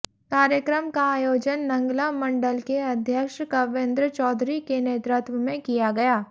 कार्यक्रम का आयोजन नंगला मंडल के अध्यक्ष कविंद्र चौधरी के नेतृत्व में किया गया